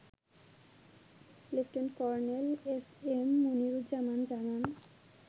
Lieutenant Colonel SM Moniruzzaman জানান